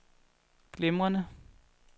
glimrende